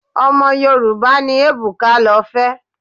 Ọmọ Yorùbá ni Ebuka lọ fẹ́.